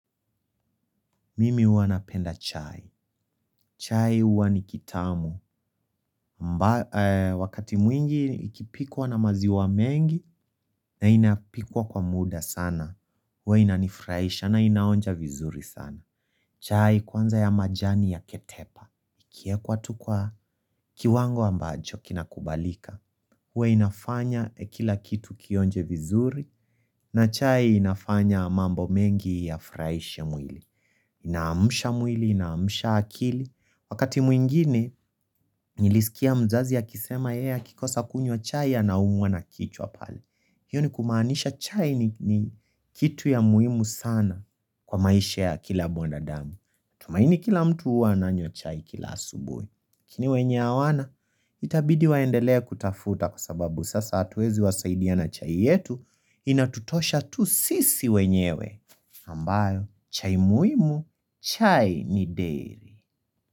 Mimi huwa napenda chai. Chai huwa ni kitamu. Wakati mwingi ikipikwa na maziwa mengi na inapikwa kwa muda sana. Huwa inanifraisha na inaonja vizuri sana. Chai kwanza ya majani ya ketepa. Kiekwa tu kwa kiwango ambacho kinakubalika. Huwa inafanya kila kitu kionje vizuri na chai inafanya mambo mengi ya furaishe mwili. Inaamusha mwili, inaamusha akili wakati mwingine nilisikia mzazi akisema kikosa kunywa chai anaumuwa na kichwa pale hiyo ni kumaanisha chai ni kitu ya muhimu sana kwa maisha ya kila bondadamu tumaini kila mtu huwa ananywa chai kila asubui lakini wenye awana itabidi waendelee kutafuta kwa sababu sasa atuwezi wasaidia na chai yetu inatutosha tu sisi wenyewe ambayo, chai muhimu, chai ni deri.